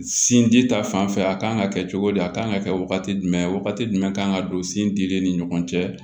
Sin di ta fanfɛ a kan ka kɛ cogo di a kan ka kɛ wagati jumɛn wagati jumɛn kan ka don sin di den ni ɲɔgɔn cɛ